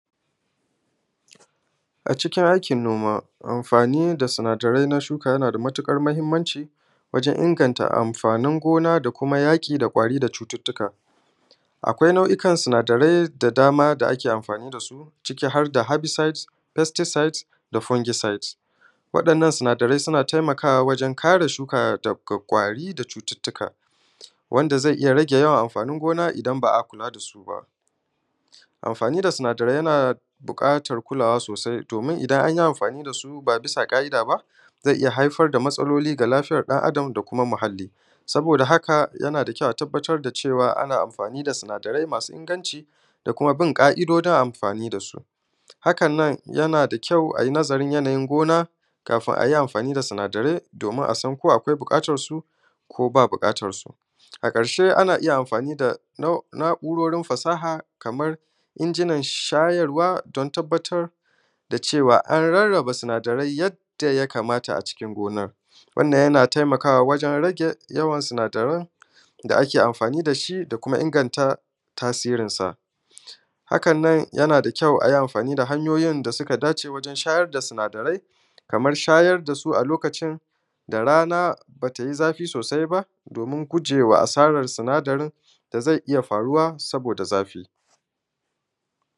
a cikin aikin noma amfani da sinadarai na shuka yana da matuƙar muhimmanci wajan inganta amfanin gona da kuma yaƙi da ƙwari da cututtuka akwai nau’ikan sinadarai da dama da ake amfani da su ciki har da herbicide pesticide da fungicide wa'innan sinadarai suna taimakawa wajan kare shuka daga ƙwari da cututtuka wanda zai iya rage yawan amfanin gona idan ba a kula da su ba amfani da sinadarai na buƙatan kulawa sosai domin idan an yi amfani da su ba bisa ƙa’ida ba to zai iya haifar da matsaloli ga lafiyan ɗan adam da kuma muhalli saboda haka yana da kyau a tabbatar da cewa ana amfani da sinadarai masu inganci da kuma bin ƙa’idojin amfani da su hakan nan yana da kyau ai nazarin yanayin gona kafin a yi amfani da sinadarai domin a san ko buƙatan su ko ba buƙatan su a ƙarshe ana iya amfani da na’urorin fasaha kamar injinan shayarwa don tabbatar da cewa an rarraba sinadarai yadda ya kamata a cikin gonar wannan ya na taimaka wa wajan rage yawan sinadarai da ake amfani da shi da kuma inganta tasirinsa hakan nan yana da kyau a yi amfani da hanyoyin da ya dace wajan shayar da sinadarai kamar shayar da su a lokacin da rana ba ta yi zafi sosai ba domin gujewa asaran sinadarin da zai iya faruwa saboda zafi